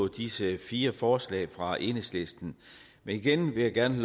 disse fire forslag fra enhedslisten men igen vil jeg gerne